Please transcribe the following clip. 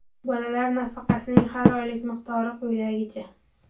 Bolalar nafaqasining har oylik miqdori quyidagicha:.